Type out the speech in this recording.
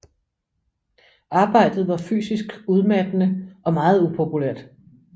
Arbejdet var fysisk udmattende og meget upopulært